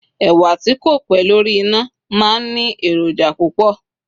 ẹwà ti ko pé lórí ina ma n Ni eroja púpò